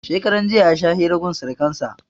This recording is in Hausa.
Shekaran jiya ya sha hira gun surkan sa